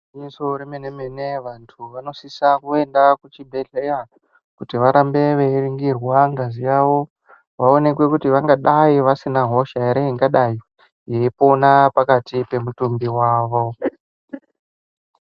Igwinyiso remene mene vantu vanosisa kuenda kuchibhedhleya kuti varambe veiningirwa ngazi yawo vaonekwe kuti vangadai vasina hosha here ingadai yeipona pakati pemutumbi wavo.